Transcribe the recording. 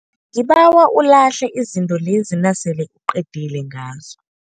Ngibawa ulahle izinto lezi nasele uqedile ngazo.